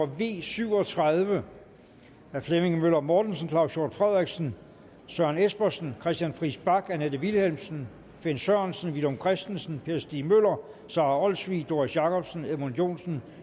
v syv og tredive af flemming møller mortensen claus hjort frederiksen søren espersen christian friis bach annette vilhelmsen finn sørensen villum christensen per stig møller sara olsvig doris jakobsen edmund joensen